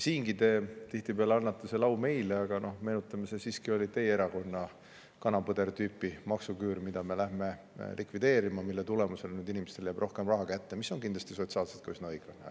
Siingi te tihtipeale annate selle au meile, aga meenutan, et see oli siiski teie erakonna kana-põder-tüüpi maksuküür, mida me lähme likvideerima ja mille tulemusena inimestele jääb rohkem raha kätte, mis on kindlasti sotsiaalselt ka üsna õiglane.